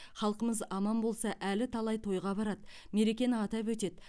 халқымыз аман болса әлі талай тойға барады мерекені атап өтеді